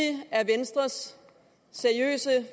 er venstres seriøse